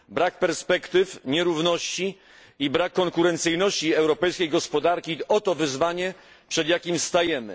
Brak perspektyw, nierówności i brak konkurencyjności europejskiej gospodarki oto wyzwanie, przed jakim stajemy.